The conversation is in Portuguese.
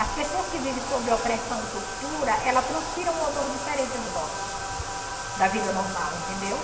As pessoas que vivem sob opressão e tortura, ela transpira um odor diferente do nosso, da vida normal, entendeu?